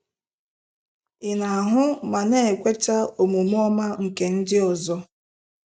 Ị na-ahụ ma na-ekweta omume ọma nke ndị ọzọ?